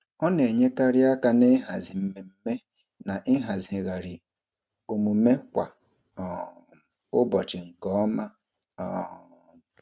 Ọ na-enyekarị aka n'ịhazi mmemme na ịhazigharị omume kwa um ụbọchị nke ọma. um